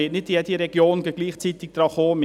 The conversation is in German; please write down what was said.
Es wird nicht jede Region gleichzeitig drankommen.